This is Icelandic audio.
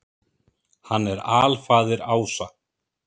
Hann er alfaðir ása.